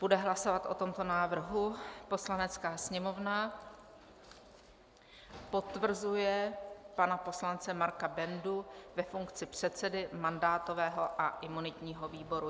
Bude hlasovat o tomto návrhu: "Poslanecká sněmovna potvrzuje pana poslance Marka Bendu ve funkci předsedy mandátového a imunitního výboru."